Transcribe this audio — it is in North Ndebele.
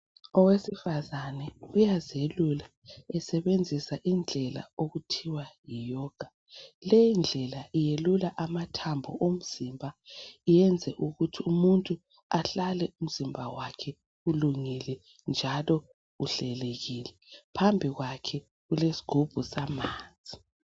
Owesifazane uyazelula esebenzisa indlela okuthiwa yiyoga leyi ndlela iyelula amathambo omzimba iyenze ukuthi umuntu ahlale umzimba wakhe ulungele njalo uhlelekile, phambi kwakhe kulesigubhu samanzi.